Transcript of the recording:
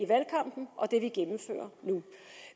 valgkampen og det vi gennemfører nu